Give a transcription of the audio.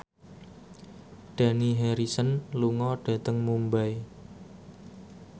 Dani Harrison lunga dhateng Mumbai